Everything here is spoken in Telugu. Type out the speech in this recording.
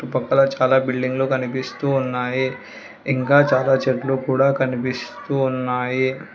ఈ పక్కలో చాలా బిల్డింగ్లు కనిపిస్తూ ఉన్నాయి ఇంకా చాలా చెట్లు కూడా కనిపిస్తూ ఉన్నాయి.